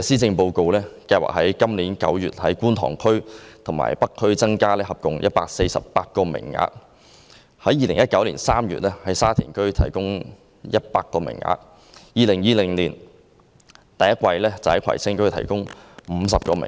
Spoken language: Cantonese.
政府原本計劃於今年9月在觀塘區和北區合共增加148個名額，於2019年3月在沙田區提供100個名額，於2020年首季在葵青區提供50個名額。